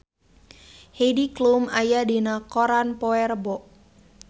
Heidi Klum aya dina koran poe Rebo